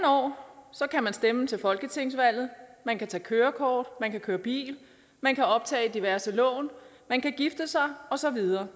år kan man stemme til folketingsvalget man kan tage kørekort man kan køre bil man kan optage diverse lån man kan gifte sig og så videre